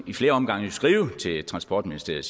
i flere omgange skrive til transportministeriet